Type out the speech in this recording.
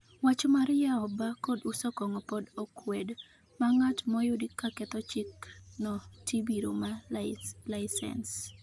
wach mar yao baa kod uso kongo pod okwed, ma ngat moyud kaketho chik no tibiro maa laisens